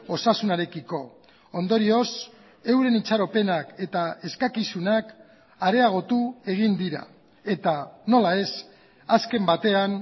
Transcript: osasunarekiko ondorioz euren itxaropenak eta eskakizunak areagotu egin dira eta nola ez azken batean